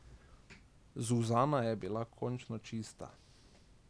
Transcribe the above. Zuzana je bila končno čista.